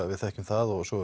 við þekkjum það og svo